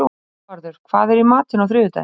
Hervarður, hvað er í matinn á þriðjudaginn?